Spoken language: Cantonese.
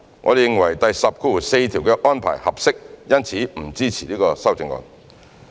我們認為第104條的安排合適，因此不支持此修正案。